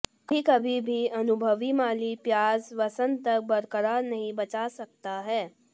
कभी कभी भी अनुभवी माली प्याज वसंत तक बरकरार नहीं बचा सकता है